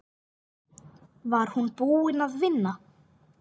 Var hún búin að vinna?